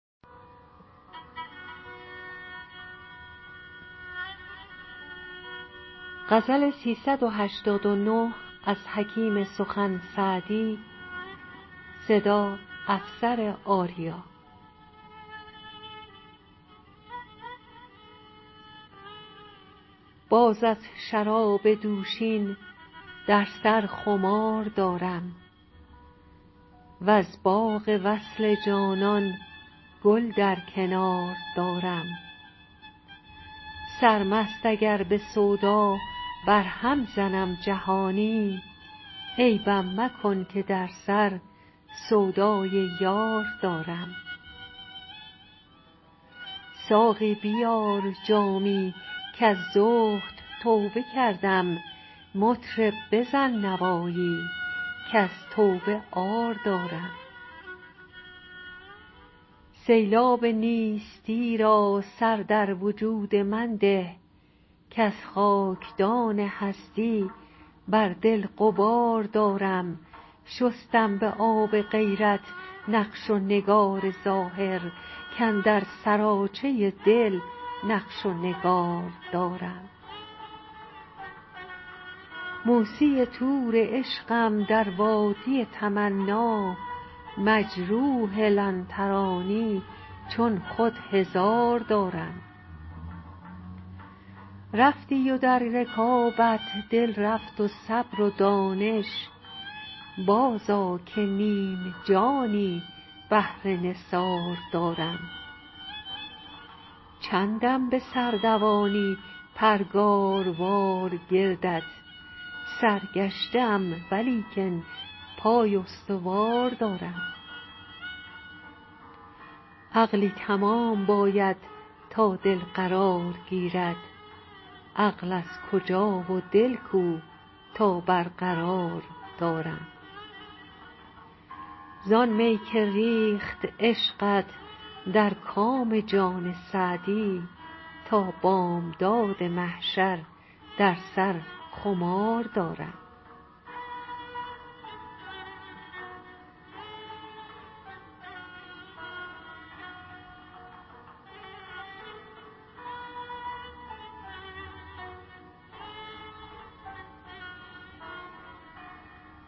باز از شراب دوشین در سر خمار دارم وز باغ وصل جانان گل در کنار دارم سرمست اگر به سودا برهم زنم جهانی عیبم مکن که در سر سودای یار دارم ساقی بیار جامی کز زهد توبه کردم مطرب بزن نوایی کز توبه عار دارم سیلاب نیستی را سر در وجود من ده کز خاکدان هستی بر دل غبار دارم شستم به آب غیرت نقش و نگار ظاهر کاندر سراچه دل نقش و نگار دارم موسی طور عشقم در وادی تمنا مجروح لن ترانی چون خود هزار دارم رفتی و در رکابت دل رفت و صبر و دانش بازآ که نیم جانی بهر نثار دارم چندم به سر دوانی پرگاروار گردت سرگشته ام ولیکن پای استوار دارم عقلی تمام باید تا دل قرار گیرد عقل از کجا و دل کو تا برقرار دارم زآن می که ریخت عشقت در کام جان سعدی تا بامداد محشر در سر خمار دارم